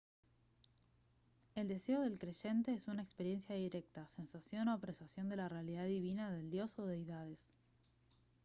el deseo del creyente es una experiencia directa sensación o apreciación de la realidad divina del dios o deidades